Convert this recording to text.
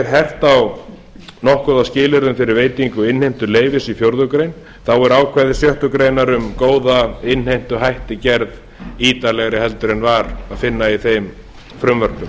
hert nokkuð á skilyrðum fyrir veitingu innheimtuleyfis í fjórða grein þá eru ákvæði sjöttu grein um góða innheimtuhætti gerð ítarlegri heldur en var að finna í þeim frumvörpum